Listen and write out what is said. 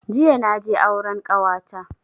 Jiya naje auren kawata